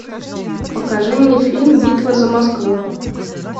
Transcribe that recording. покажи мне фильм битва за москву